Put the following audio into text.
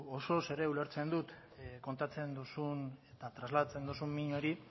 osoz ere ulertzen dut kontatzen duzun eta trasladatzen duzun min hori